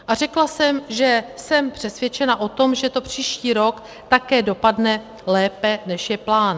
A řekla jsem, že jsem přesvědčena o tom, že to příští rok také dopadne lépe, než je plán.